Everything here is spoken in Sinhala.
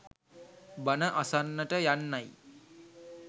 බණ අසන්නට යන්නයි